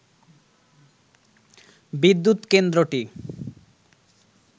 বিদ্যুৎ কেন্দ্রটি